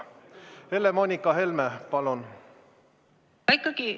Helle-Moonika Helme, palun!